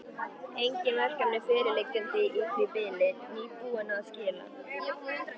Engin verkefni fyrirliggjandi í því bili, nýbúinn að skila.